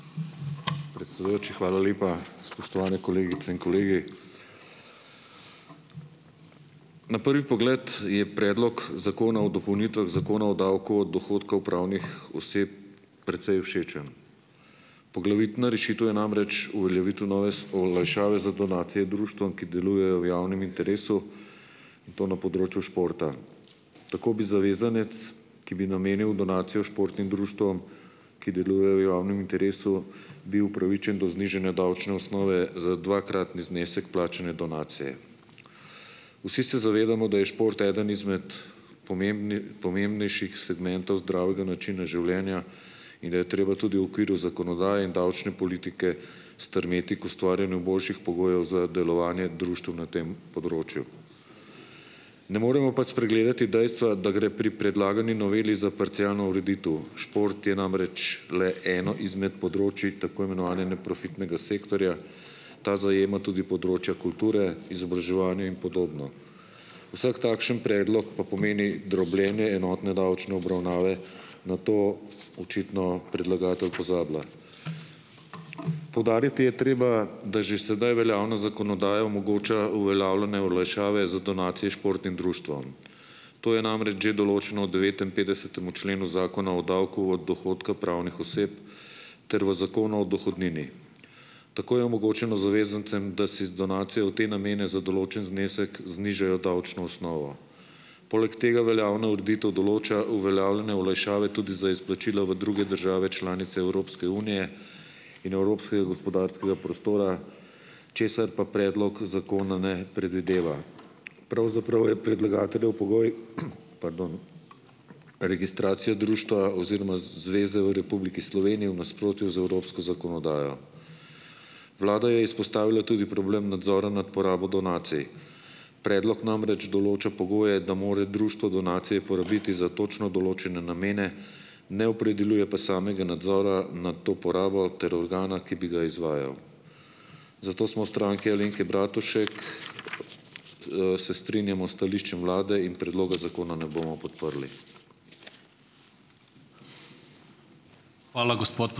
Predsedujoči, hvala lepa, spoštovane kolegice in kolegi. Na prvi pogled je predlog Zakona o dopolnitvah Zakona o davku od dohodkov pravnih oseb precej všečen. Poglavitna rešitev je namreč uveljavitev nove olajšave za donacije društvom, ki delujejo v javnem interesu, in to na področju športa. Tako bi zavezanec, ki bi namenil donacijo športnim društvom, ki delujejo v javnem interesu, bil upravičen do znižanja davčne osnove za dvakratni znesek plačane donacije. Vsi se zavedamo, da je šport eden izmed pomembnejših segmentov zdravega načina življenja in da je treba tudi v okviru zakonodaje in davčne politike strmeti k ustvarjanju boljših pogojev za delovanje društev na tem področju. Ne moremo pa spregledati dejstva, da gre pri predlagani noveli za parcialno ureditev, šport je namreč le eno izmed področij tako imenovane neprofitnega sektorja. Ta zajema tudi področja kulture, izobraževanja in podobno. Vsak takšen predlog pa pomeni drobljenje enotne davčne obravnave - na to očitno predlagatelj pozablja. Poudariti je treba, da že sedaj veljavna zakonodaja omogoča uveljavljanje olajšave za donacije športnim društvom. To je namreč že določeno v devetinpetdesetemu členu Zakona o davku od dohodka pravnih oseb ter v Zakonu o dohodnini. Tako je omogočeno zavezancem, da si z donacijo v te namene za določen znesek znižajo davčno osnovo, poleg tega veljavna ureditev določa uveljavljanje olajšave tudi za izplačila v druge države članice Evropske unije in evropskega gospodarskega prostora, česar pa predlog zakona ne predvideva. Pravzaprav je predlagateljev pogoj, pardon registracija društva oziroma zveze v Republiki Sloveniji v nasprotju z evropsko zakonodajo. Vlada je izpostavila tudi problem nadzora nad porabo donacij. Predlog namreč določa pogoje, da more društvo donacije porabiti za točno določene namene, ne opredeljuje pa samega nadzora nad to porabo ter organa, ki bi ga izvajal. Zato smo v Stranki Alenke Bratušek, se strinjamo s stališčem vlade in predloga zakona ne bomo podprli.